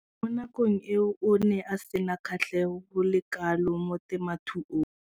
Mo nakong eo o ne a sena kgatlhego go le kalo mo temothuong.